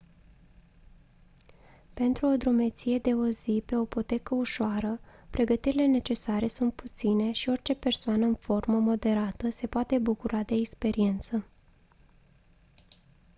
pentru o drumeție de o zi pe o potecă ușoară pregătirile necesare sunt puține și orice persoană în formă moderată se poate bucura de experiență